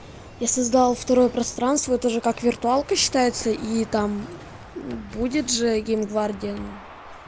я создал второе пространство это же как виртуалка считается и там будет же гейм гвардия